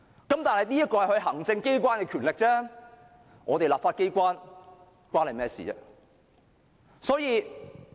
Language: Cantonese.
但是，這只是行政機關的權力，與我們立法機關無關。